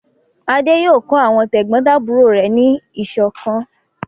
Adé yóò kọ́ àwọn tẹ̀gbọ́ntàbúrò rẹ̀ ní ìṣọ̀kan!